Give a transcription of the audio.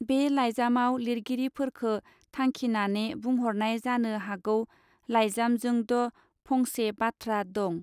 बे लाइजामआव लिरगिरिफोरखो थांखिनाने बुंहरनाय जानो हागौ लाइजामजोंद्ध फंसे बाथ्रा दं.